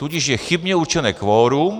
Tudíž je chybně určené kvorum.